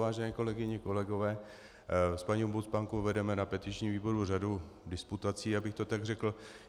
Vážené kolegyně, kolegové, s paní ombudsmankou vedeme na petičním výboru řadu disputací, abych to tak řekl.